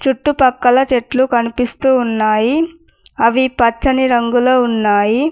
చుట్టుపక్కల చెట్లు కనిపిస్తూ ఉన్నాయి అవి పచ్చని రంగు లో ఉన్నాయి.